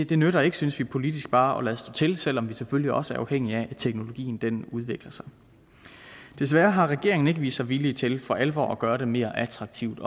det nytter ikke synes vi politisk bare at lade stå til selv om vi selvfølgelig også er afhængige af at teknologien udvikler sig desværre har regeringen ikke vist sig villig til for alvor at gøre det mere attraktivt